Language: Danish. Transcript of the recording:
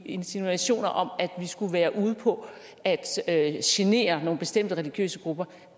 insinuationer om at vi skulle være ude på at at genere nogle bestemte religiøse grupper